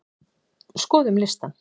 Skoðum listann!